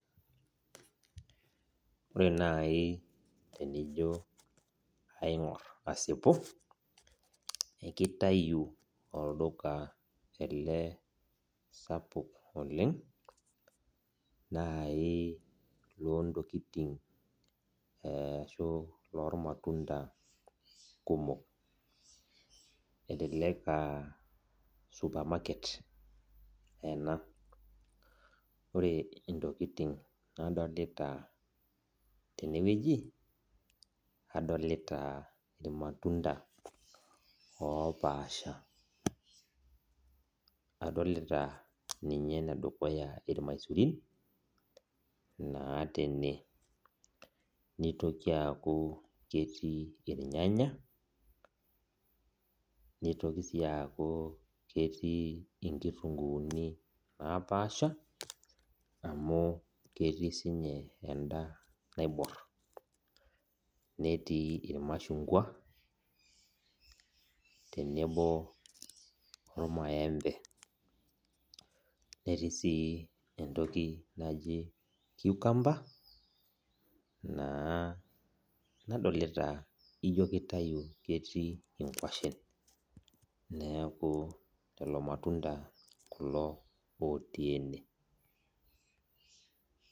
Ore nai tenijo aing'or asipu, ekitayu olduka ele sapuk oleng, nai lontokiting ashu lormatunda kumok. Elelek ah supermarket ena. Ore intokiting nadolita tenewueji, adolita irmatunda opaasha. Adolita ninye enedukuya irmaisurin, naa tene. Nitoki aku ketii irnyanya, nitoki si aku inkitunkuuni napaasha, amu ketii sinye enda naibor. Netii irmashungwa, tenebo ormaembe. Netii si entoki naji cucumber, naa nadolita ijo kitayu ketii inkwashen. Neeku lelo matunda kulo otii ene.